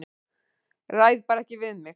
Ræð bara ekki við mig.